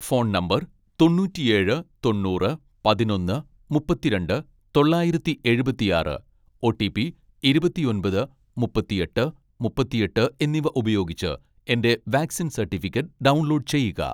phone number തൊണ്ണൂറ്റിയേഴ് തൊണ്ണൂറ് പതിനൊന്ന് മുപ്പത്തിരണ്ട് തൊള്ളായിരത്തി എഴുപത്തിയാറ് , ഓ.ടി.പി ഇരുപത്തിയൊമ്പത് മുപ്പത്തിയെട്ട് മുപ്പത്തിയെട്ട് എന്നിവ ഉപയോഗിച്ച് എന്റെ വാക്‌സിൻ സർട്ടിഫിക്കറ്റ് ഡൗൺലോഡ് ചെയ്യുക